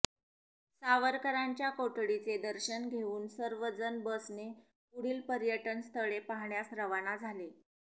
सावरकरांच्या कोठडीचे दर्शन घेऊन सर्व जण बसने पुढील पर्यटनस्थळे पाहण्यास रवाना झाले